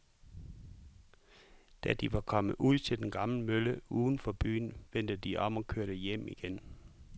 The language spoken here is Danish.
Da de var kommet ud til den gamle mølle uden for byen, vendte de om og kørte hjem igen.